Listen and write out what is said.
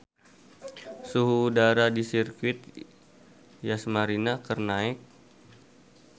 Suhu udara di Sirkuit Yas Marina keur naek